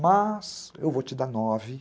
Mas, eu vou te dar nove.